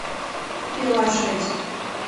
пила шесть